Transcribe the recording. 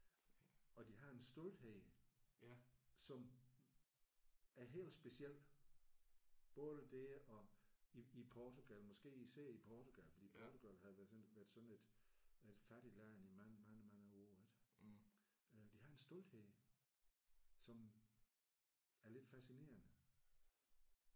Og de har en stolthed som er helt speciel. Både det at i i Portugal måske især i Portugal fordi Portugal har jo været sådan været sådan et fattigt land i mange mange mange år ik? De har en stolthed som er lidt fascinerende